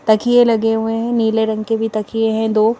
तकिए लगे हुए हैं नीले रंग के भी तकिए हैं दो।